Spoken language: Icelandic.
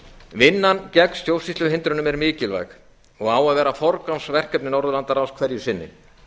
vinnan gegn stjórnsýsluhindrunum er mikilvæg og á að vera forgangsverkefni norðurlandaráðs hverju sinni